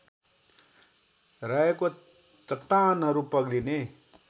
रहेको चट्टानहरू पग्लिने